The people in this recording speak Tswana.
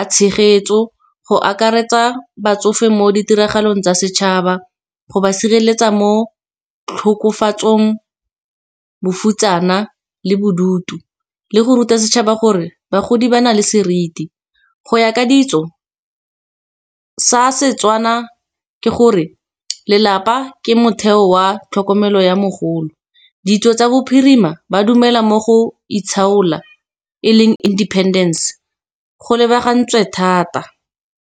a tshegetso go akaretsa batsofe, mo ditiragalong tsa setšhaba. Go ba sireletsa mo tlhokofatsong, bofutsana kana le bodutu, le go ruta setšhaba gore bagodi ba na le seriti, go ya ka ditso sa Setswana, ke gore lelapa ke motheo wa tlhokomelo ya mogolo. Ditso tsa bophirima ba dumela mo go itlhaola e leng independence go lebagantswe thata.